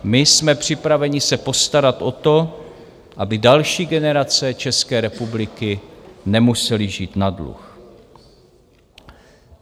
My jsme připraveni se postarat o to, aby další generace České republiky nemusely žít na dluh.